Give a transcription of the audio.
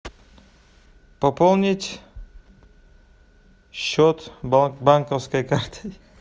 пополнить счет банковской карты